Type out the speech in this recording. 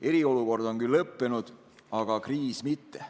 Eriolukord on küll lõppenud, aga kriis mitte.